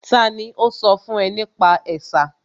Tani ó sọ fún ẹ nípa ẹ̀sà?